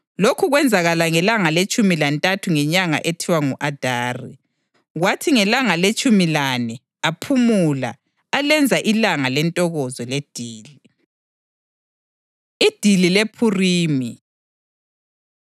Lokhu kwenzakala ngelanga letshumi lantathu ngenyanga ethiwa ngu-Adari, kwathi ngelanga letshumi lane aphumula alenza ilanga lentokozo ledili. Idili LePhurimi